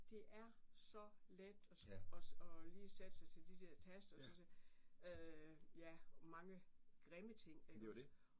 Det er så let og og og lige sætte sig til de der taster og så sige øh ja mange grimme ting iggås